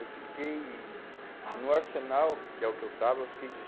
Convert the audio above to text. Eu fiquei em no Arsenal, que é o que eu estava, eu fiquei